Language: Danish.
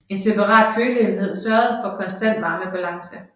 En separat køleenhed sørgede for en konstant varmebalance